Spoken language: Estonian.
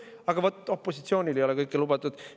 Aga vaat opositsioonile ei ole kõik lubatud.